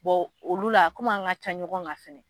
olu la kɔmi an ka ca ɲɔgɔn ga fɛnɛ